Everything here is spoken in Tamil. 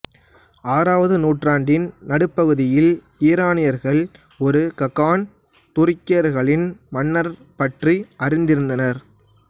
ஆறாவது நூற்றாண்டின் நடுப்பகுதியில் ஈரானியர்கள் ஒரு ககான் துருக்கியர்களின் மன்னர் பற்றி அறிந்திருந்தனர்